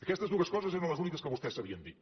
aquestes dues coses eren les úniques que vostès sabien dir